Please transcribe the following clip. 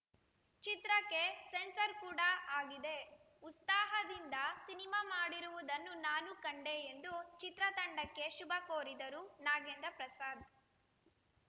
ಚಿತ್ರಕ್ಕೆ ಸೆನ್ಸಾರ್‌ ಕೂಡ ಆಗಿದೆ ಉತ್ಸಾಹದಿಂದ ಸಿನಿಮಾ ಮಾಡಿರುವುದನ್ನು ನಾನು ಕಂಡೆ ಎಂದು ಚಿತ್ರತಂಡಕ್ಕೆ ಶುಭ ಕೋರಿದರು ನಾಗೇಂದ್ರ ಪ್ರಸಾದ್‌